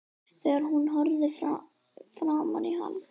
Þegar hún horfði framan í hann